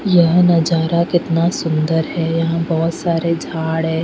यह नज़ारा कितना सुंदर है यहाँ बोहोत सारे झाड़ है.